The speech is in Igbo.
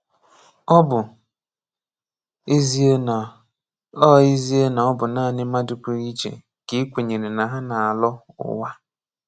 Ọ bụ ezie na ọ ezie na ọ bụ naanị mmadụ pụrụ iche ka e kwenyere na ha na-alọ ụwa